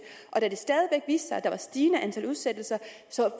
sig at der stigende antal udsættelser